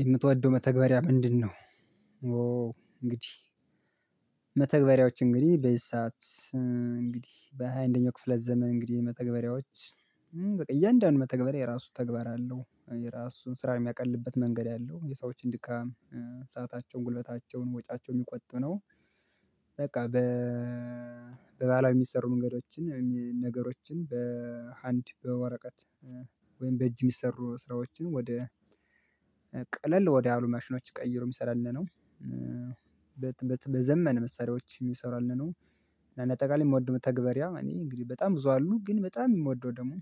የምትወደው መተግበሪያ ምንድነው እንግዲህ መተግበሪያዎች እንግዲህ በዚ ሰዓት እንግዲህ በሃያ አንደኛው ክፍለ ዘመን እንግዲህ መተግበሪያዎች በቃ እያንዳንዱ መተግበርያ የራሱ ተግባር አለው የራሱ ስራ የሚያቀልበት መንገድ አለው የሰዎችን ድካም ሰአታቸዉን ጉልበታቸዉን ወጪያቸዉን የሚቆጥብ ነው በቃ በባሀላዊ የሚሰሩ መንገዶችን ነገሮችን በአንድ በወረቀት ወይም በእጅ የሚሰሩ ስራዎችን ወደ ቀለል ወደ አሉ ማሽኖች ቀይሮ የሚሰራልን ነው በዘመን መሳሪያዎች የሚሰራልን ነው እና አጠቃላይ የምወደው መተግበሪያ እኔ እንግዲህ በጣም ብዙ አሉ ግን በጣም የምወደው ደግሞ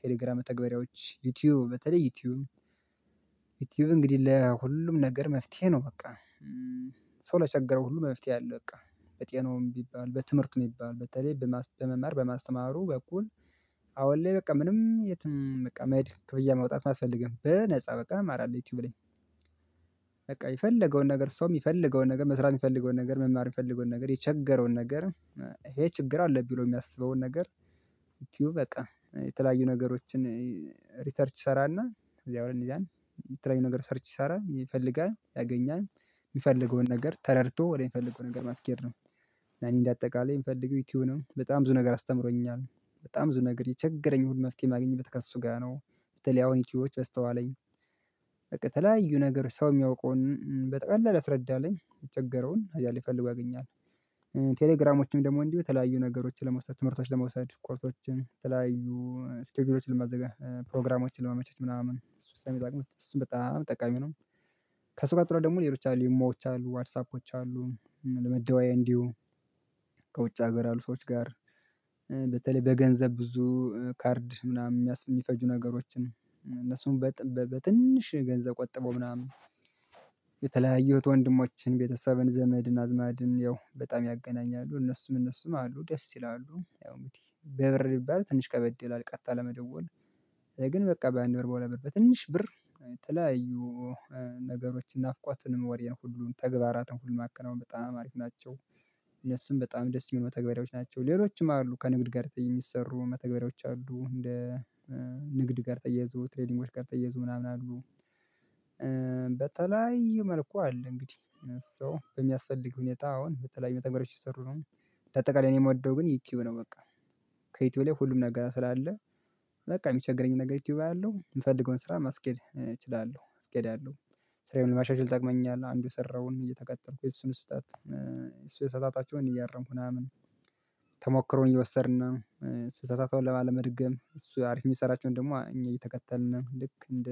ቴሌግራም መተግበሪያዎች ዩቲዩብ በተለይ ዩቲዩብ ዩቲዩብ እንግዲህ ለሁሉም ነገር መፍትሄ ነው በቃ ሰው ላቸገረው ሁሉ መፍትሄ አለው በቃ በጤናውም ቢባል በትምህርቱም ቢባል በተለይ በመማር በማስተማሩ በኩል አሁን ላይ በቃ ምንም የትም በቃ መሄድ ክፍያ ማውጣት አያስፈልግም በነፃ በቃ እማራለሁ ዩቲዩብ ላይ በቃ የፈለገውን ነገር ሰው የሚፈልገውን ነገር መስራት የሚፈልገውን ነገር መማር የሚፈልገውን ነገር የቸገረውን ነገር ይሄ ችግር አለብኝ ብሎ የሚያስበውን ነገር ዩቲዩብ በቃ የሚፈልገዉን ነገር ተረድቶ ወደሚፈልገው ነገር ማስኬድ ነው እና እኔ እንደ አጠቃላይ የምፈልገው ዩቲዩብንም በጣም ብዙ ነገር አስተምሮኛል በጣም ብዙ ነገር የቸገረኝ ሁል መፍትሄ ማግኘት ከእሱ ጋር ነው በተለይ አሁን ዩቲዩቦች በዝተዋለኝ በቃ የተለያዩ ነገር ሰው የሚያውቀውን በጠቅላላ ያስረዳልኝ የቸገረውን አያሌ ፈልጎ ያገኛል ቴሌግራሞችም ደግሞ እንዲሁ የተለያዩ ነገሮችን ለመውሰድ ትምህርቶችን ለመውሰድ ኮርሶችን ተለያዩ ስኬጁሎችን ለማዘጋጀት ፕሮግራሞችን ለማመቸት ምናምን እሱ ስለሚጠቅሙት እሱን በጣም ጠቃሚ ነው ከሱ ጋር ጥሩ ደግሞ ሌሎች አሉ ኢሞዎች አሉ ዋትሳፖች አሉ ለመደወያ እንዲሁ ከውጭ ሀገር አሉ ሰዎች ጋር በተለይ በገንዘብ ብዙ ካርድ ምናምን የሚፈጁ ነገሮችን እነሱን በትንሽ ገንዘብ ቆጥቦ ምናምን የተለያየሁት ወንድሞችን ቤተሰብን ዘመድን አዝማድን ያው በጣም ያገናኛሉ እነሱም እነሱም አሉ ደስ ይላሉ ያው እንግዲ በብር ቢባላል ትንሽ ከበድ ይላል ቀጥታ ለመደወል ግን በቃ በአንድ ብር በሁለት ብር በትንሽ ብር የተለያዩ ነገሮችን ናፍቆትንም ወሬን ሁሉን ተግባራትን ሁሉ ማከናወን በጣም አሪፍ ናቸው እነሱም በጣም ደስ የሚሉ መተግበሪያዎች ናቸው ሌሎችም አሉ ከንግድ ጋር የሚሰሩ መተግበሪያዎች አሉ እንደ ንግድ ጋር ተያይዞ ትሬዲንጎች ጋር ተያይዙዞ ምናምን አሉ በተለያየ መልኩ አለ እንግዲህ ሰው በሚያስፈልግ ሁኔታ አሁን በተለያዩ መተግበሪያዎች እየተሰሩ ነው እንደ አጠቃላይ እኔ የምወደው ግን ዩቲዩብ ነው በቃ ከዩቲዩብ ላይ ሁሉም ነገር ስላለ በቃ የሚቸገረኝ ነገር ዩቲዩብ አያለው የምፈልገውን ስራ ማስኬድ እችላለሁ አስኬዳለው ስራዬን ለማሻሻል ይጠቅመኛል አንዱ የሰራውን እየተከተልኩ የሱን ስህተት እሱ የተሳሳታቸውን እያረምኩ ምናምን ተሞክሮ እየወሰድን እሱ የተሰሳታውን ላለመድገም እሱ አሪፍ የሚሰራቸውን ደግሞ እኛ እየተከተልን ልክ እንደ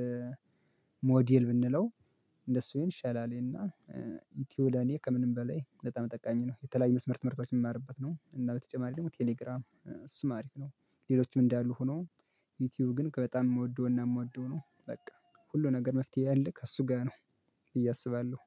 ሞዴል ብንለው እንደሱ ይሻላል እና ዩቲዩብ ለኔ ከምንም በላይ በጣም ጠቃሚ ነው የተለያዩ መስመር ትምህርቶች የምማርበት ነው እና በተጨማሪ ደግሞ ቴሌግራም እሱም አሪፍ ነው ሌሎቹም እንዳሉ ሆኖ ዩቲዩብ ግን ከበጣም የምወደው እና የምወደው ነው በቃ ሁሉ ነገር መፍትሄ አለ ከእሱ ጋር ነው ብዬ አስባለሁ?